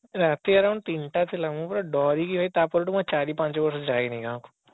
ରାତି around ତିନିଟା ଥିଲା ମୁଁ ପୁରା ଡରିକି ତା ପରଠୁ ନା ଚାରି ପାଞ୍ଚ ବର୍ଷ ଯାଇନି ଗାଁକୁ